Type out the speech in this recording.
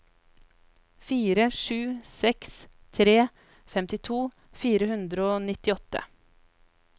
fire sju seks tre femtito fire hundre og nittiåtte